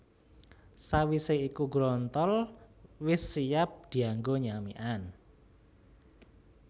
Sawisé iku grontol wis siap dianggo nyamikan